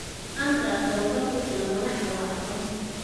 La'aanta tababar ku filan madaxda waa caqabad.